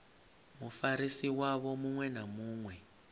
mufarisi wavho muṅwe na muṅwe